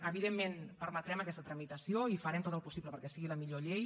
evidentment permetrem aquesta tramitació i farem tot el possible perquè sigui la millor llei